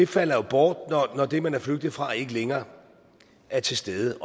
falder bort når det man er flygtet fra ikke længere er til stede